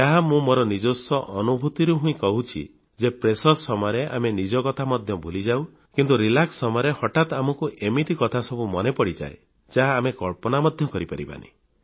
ଏହା ମୁଁ ମୋର ନିଜସ୍ୱ ଅନୁଭୂତିରୁ କହୁଛି ଯେ ପ୍ରେସର ସମୟରେ ଆମେ ନିଜକଥା ମଧ୍ୟ ଭୁଲିଯାଉ କିନ୍ତୁ ଆରାମ ସମୟରେ ହଠାତ୍ ଆମକୁ ଏମିତି କଥାସବୁ ମନେ ପଡ଼ିଯାଏ ଯାହା ଆମେ କଳ୍ପନା ମଧ୍ୟ କରିପାରିବାନି